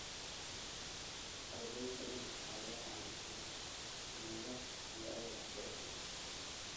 Arday badan ayaan haysan buugaag iyo agab waxbarasho.